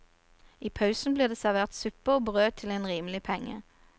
I pausen blir det servert suppe og brød til en rimelig penge.